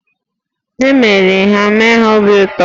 E meriri ha, mee ha obi ụtọ!